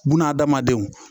Buna adamadenw